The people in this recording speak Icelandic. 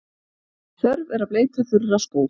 Þörf er að bleyta þurra skó.